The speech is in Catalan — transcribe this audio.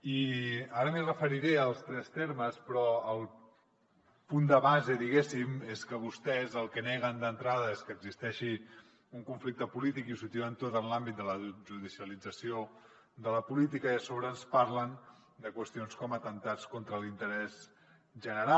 i ara m’hi referiré als tres termes però el punt de base diguéssim és que vostès el que neguen d’entrada és que existeixi un conflicte polític i ho situen tot en l’àmbit de la judicialització de la política i a sobre ens parlen de qüestions com atemptats contra l’interès general